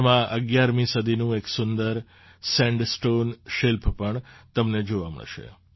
તેમાં ૧૧મી સદીનું એક સુંદર સેન્ડસ્ટૉન શિલ્પ પણ તમને જોવા મળશે